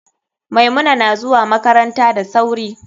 Maimuna nazuwa makaranta da sauri.